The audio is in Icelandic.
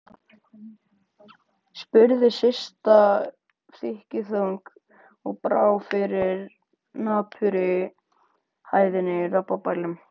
spurði Systa þykkjuþung og brá fyrir napurri hæðni í raddblænum.